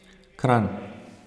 Kranj.